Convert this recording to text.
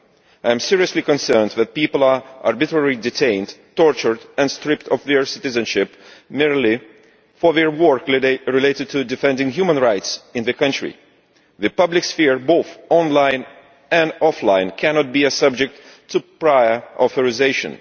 I am seriously concerned that people are being arbitrarily detained, tortured and stripped of their citizenship, merely for their work related to defending human rights in the country. The public sphere both online and offline cannot be subject to prior authorisation.